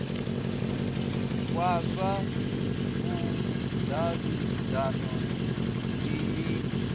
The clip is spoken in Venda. wa zwa vhudavhidzano ndi mini